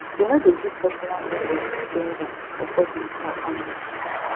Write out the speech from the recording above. e no dey give personal info to stranger for public or online